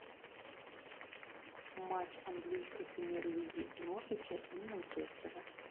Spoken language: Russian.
матч английской премьер лиги норвича и манчестера